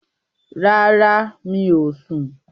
Rárá, mi ò sun